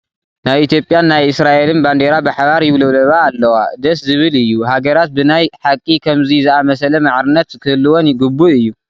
ናይ ኢትዮጵያን ናይ እስራኤልን ባንዴራ ብሓባር ይውልብለባ ኣለዋ፡፡ ደስ ዝብል እዩ፡፡ ሃገራት ብናይ ሓቂ ከምዚ ዝኣምሰለ ማዕርነት ክህልወን ግቡእ እዩ፡፡